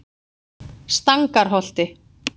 Stangarholti